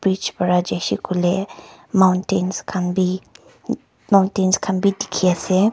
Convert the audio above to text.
bich para jaise koile mountent khan bhi mountent khan bhi dekhi ase.